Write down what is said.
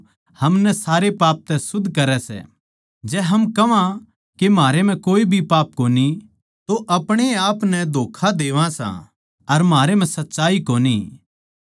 जै हम अपणे पाप नै परमेसवर के स्याम्ही मान ल्या तो वो म्हारे पाप नै माफ करण म्ह भरोसेमन्द अर धर्मी सै अर वो हमनै सारे अधर्म तै शुद्ध करै सै